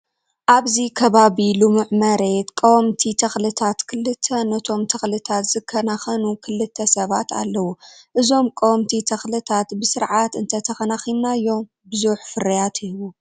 ኣብዚ ከባቢ ልሙዕ መሬት ቀወምቲ ተክልታት ክልተ ነቶም ተክልታት ዝከናከኑ ክልተ ሰባት ኣለው። እዞም ቀወምቲ ተክልታ ብስርዓት እተከናኪናዮ ብዙሕ ፍርያት ይህቡ።